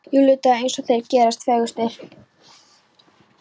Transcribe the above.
Júlídagur eins og þeir gerast fegurstir.